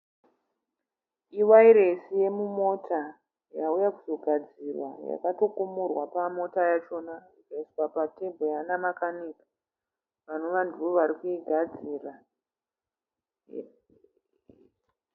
Iwairesi yomumota yauya kuzogadzirwa yakatokumurwa pamota yachona ikaiswa pa"table" nanamakanika vanova ndivo vari kuigadzira.